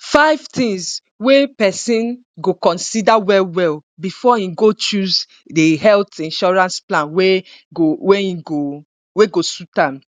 Five things wey pesin go consider well well before e go choose the health insurance plan wey go wey im go wey go suit am.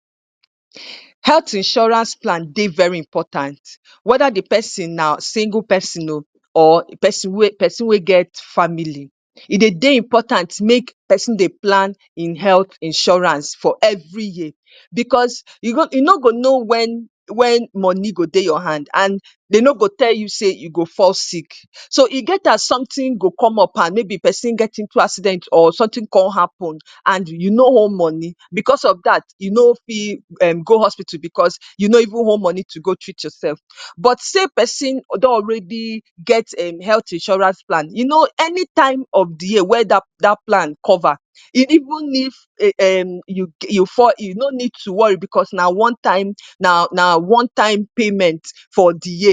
Health insurance plan dey very important. Weda the pesin na single pesin oh or pesin wey pesin wey get family. E dey very important make pesin dey plan e health insurance for every year. Because you go you no go know when when money go dey your hand. And they no go to tell you sey you go fall sick. So, e get as something go come up and maybe pesin get into accident or something con happen and you no hold money. Because of dat, e no fit um go hospital because you no even hold money to go treat yourself. But sey pesin don already get um health insurance plan, e know any time of the year wey dat dat plan cover. Even if um you you fall, you no need to worry because na one-time na na onetime payment for the year.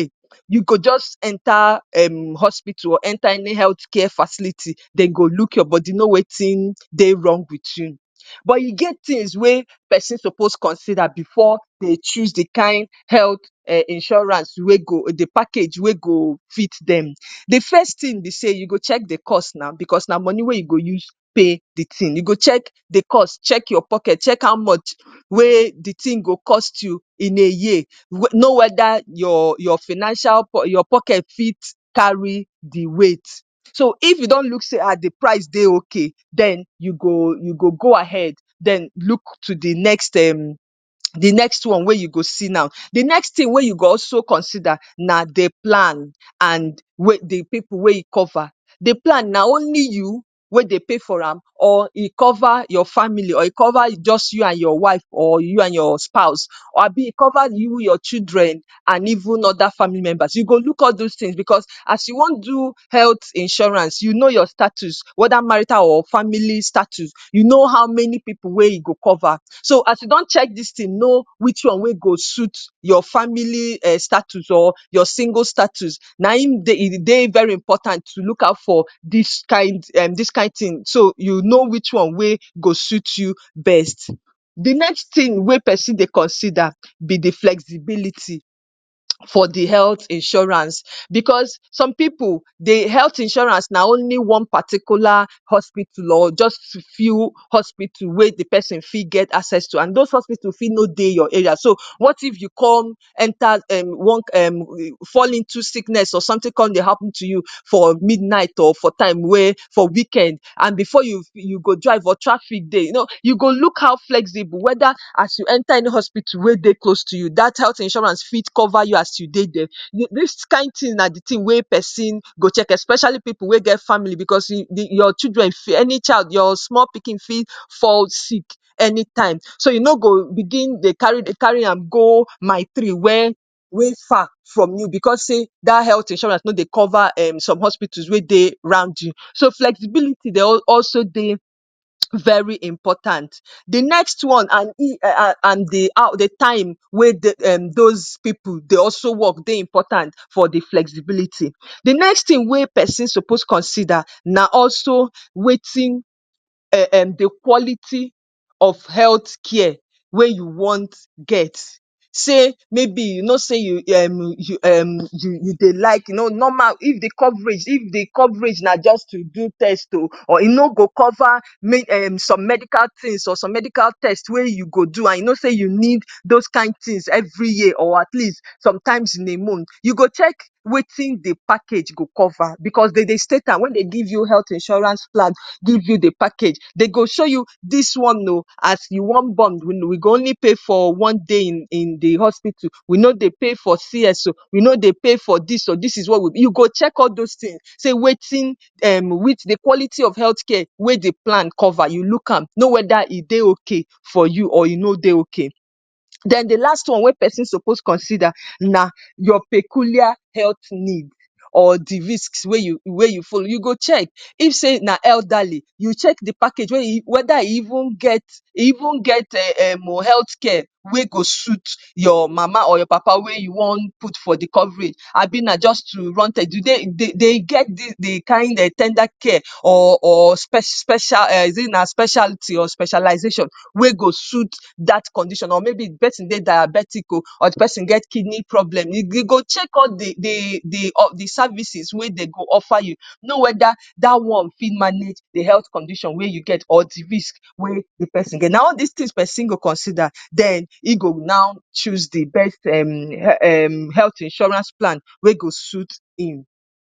You go just enter um hospital, enter any health care facility. They go look your body, know wetin dey wrong with you. But you get things wey pesin suppose consider before they choose the kind health um insurance wey go the package, wey go fit dem. The first thing be sey, you go check the cost na because na money wey you go use pay the thing. You go check the cost, check your pocket, check how much wey the thing go cost you in a year. Know weda your your financial, your pocket fit carry the rate. So, if you don look sey ah, the price dey okay. Den you go you go go ahead, den look to the next um the next one wey you go see now. The next thing wey you go also consider na the plan and the pipu wey you cover. The plan na only you wey dey pay for am? or e cover your family? or e cover just you and your wife or you and your spouse. abi e cover you, your children and even other family members. You go look all dos things because as you wan do health insurance, you know your status. Weda marital or family status, you know how many pipu wey you go cover. So as you don check dis thing, know which one wey go suit your family um status or your single status. Na im dey e dey very important to look out for dis kind um dis kind of thing. So you know which one wey go suit you best. The next thing wey pesin dey consider be the flexibility for the health insurance. Because some pipu, the health insurance na only one particular hospital or just few hospitals wey the pesin fit get access to and dos hospitals fit no dey your area. So, what if you come enter um one um fall into sickness or something con dey happen to you for midnight or for time wey for weekend. And before you you go drive or traffic dey, you know, you go look how flexible. Weda as you enter any hospital wey dey close to you, dat health insurance fit cover you as you dey dere. Dis kind thing na the thing wey pesin go check, especially pipu wey get family. Because e the your children fit, any child, your small pikin fit fall sick anytime. So, you no go begin dey carry dey carry am go mile three when wey far from you because sey dat health insurance no dey cover um some hospitals wey dey around you. So flexibility dey also dey very important. The next one and and the time wey dos pipu dey also work dey important for the flexibility. The next thing wey pesin suppose consider na also wetin um the quality of health care wey you want get. Say, maybe you know sey you um you dey like you know normal, if the coverage, if the coverage na just to do test oh or e no go cover make um some medical things or some medical test wey you go do. And you know sey you need dos kind things every year or at least sometimes in a month. You go check wetin the package go cover. Because de dey state am when they give you health insurance plan, give you the package. They go show you dis one oh, as you want born, we go only pay for one day in in the hospital. We no dey pay for CS oh, we no dey pay for dis or dis is what, you go check all dos things. Sey wetin um with the quality of health care wey the plan cover. You look am, know weda the plan dey okay for you or e no dey okay. Then the last one wey pesin suppose consider na your peculiar health need or the risks wey you wey you follow. You go check. If sey na elderly, you check the package wey e weda e even get e even get um health care wey go suit your mama or your papa wey you wan put for the coverage. Abi na just to run test. E dey they get the kind um ten der care or or special is it na specialty or specialization wey go suit dat condition or maybe the pesin dey diabetic or pesin get kidney problem. You go check all the the the services wey they go offer you. Know weda dat one fit manage the health condition wey you get or the risk wey the pesin get. Na all des things pesin go consider. Den e go now choose the best um health insurance plan wey go suit im.